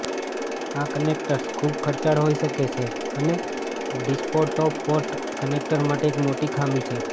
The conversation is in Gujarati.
આ કનેક્ટર્સ ખૂબ ખર્ચાળ હોઇ શકે છે અને ડિસ્પટોપપોર્ટ કનેક્ટર માટે એક મોટી ખામી છે